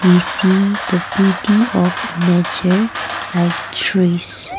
we see the beauty of a nature like trees.